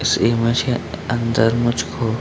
इस इमेज के अ अंदर मुझको --